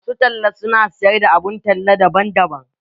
Masu talla su na siyar da abun talla daban-daban.